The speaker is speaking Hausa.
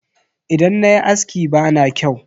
Idan nayi aski bana kyau.